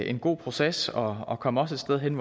en god proces og og kom også hen